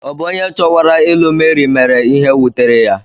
Ọ̀ bụ onye chowara ilu Mary mere ihe wutere ya?